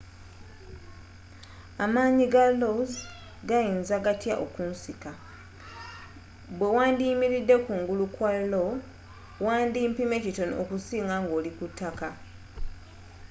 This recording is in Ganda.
amanyi ga lo's gayinza gatya okunsika bwe wandiyimiridde kungulu kwa lo wandi pimye kitono okusinga nga oli ku ttaka